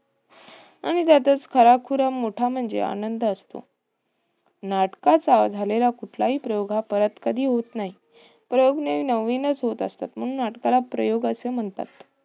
आणि त्यातच खरा खुरा मोठा म्हणजे आनंद असतो. नाटकाचा झालेला कुठलाही हा प्रयोग परत कधी होत नाही. प्रयोग नेहमी नवीनच होत असतात. म्हणून नाटकाला प्रयोग असे म्हणतात.